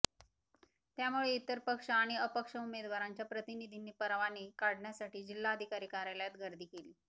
त्यामुळे इतर पक्ष आणि अपक्ष उमेदवारांच्या प्रतिनिधींनी परवाने काढण्यासाठी जिल्हाधिकारी कार्यालयात गर्दी केली